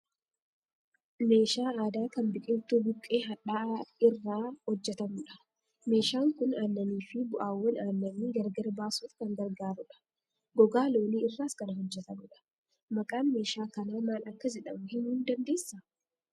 Meeshaa aadaa kan biqiltuu buqqee hadhaa'aa irrraa hojjetamudha. Meeshaan kun aannanii fi bu'aawwan aannanii gargar baasuuf kan gargaarudha. Gogaa loonii irraas kan hojjetamudha. Maqaan meeshaa kanaa maal akka jedhamu himuu ni dandeessaa?